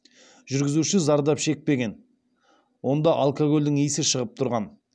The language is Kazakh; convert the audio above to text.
жүргізуші зардап шекпеген онда алкогольдің иісі шығып тұрған